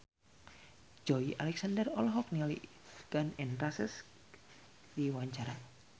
Joey Alexander olohok ningali Gun N Roses keur diwawancara